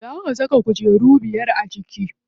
Zan saka kujeru biyar a ciki.